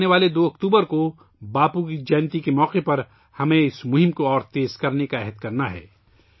2 اکتوبر کو باپو کے یوم پیدائش کے موقع پر ہمیں اس مہم کو مزید تیز کرنے کا عہد کرنا ہے